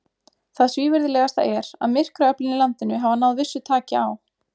Það svívirðilegasta er, að myrkraöflin í landinu hafa náð vissu taki á.